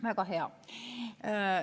Väga hea!